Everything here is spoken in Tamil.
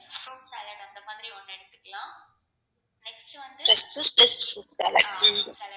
two steps fruit salad